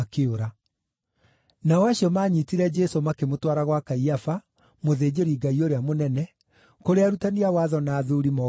Nao acio maanyiitire Jesũ makĩmũtwara gwa Kaiafa, mũthĩnjĩri-Ngai ũrĩa mũnene, kũrĩa arutani a watho na athuuri moonganĩte.